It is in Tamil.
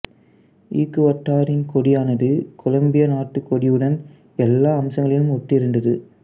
ஈக்குவடாரின் கொடியானது கொலம்பியா நாட்டு கொடியுடன் எல்லா அம்சங்களிலும் ஒத்திருந்தது